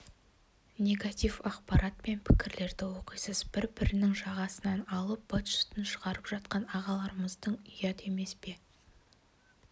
негатив ақпарат пен пікірлерді оқисыз бір-бірінің жағасынан алып быт-шытын шығарып жатқан ағаларымыз ұят емес пе